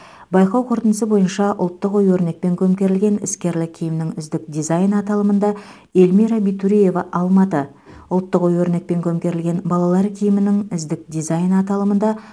байқау қорытындысы бойынша ұлттық ою өрнекпен көмкерілген іскерлік киімнің үздік дизайны аталымында эльмира битуреева алматы ұлттық ою өрнекпен көмкерілген балалар киімінің үздік дизайны аталымында